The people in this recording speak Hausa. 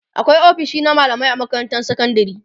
akwai ofisoshi na mallamai a makarantar sekandari